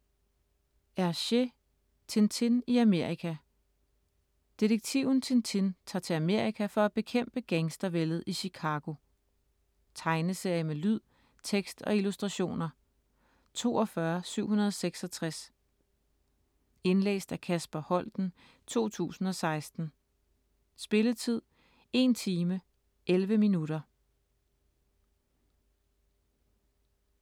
Hergé: Tintin i Amerika Detektiven Tintin tager til Amerika for at bekæmpe gangstervældet i Chicago. Tegneserie med lyd, tekst og illustrationer 42766 Indlæst af Kasper Holten, 2016. Spilletid: 1 time, 11 minutter.